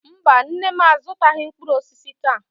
Mba, nne m azụtaghị mkpụrụ osisi taa.